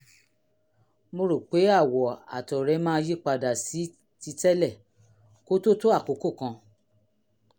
mo rò pé àwọ̀ àtọ̀ rẹ máa yípadà sí titẹ́lẹ̀ kó tó tó àkókò kan